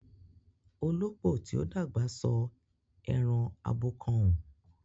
Olópò tí ó dàgbà sọ ẹran abọ́ kan ùn